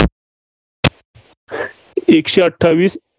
एकशे अठ्ठावीस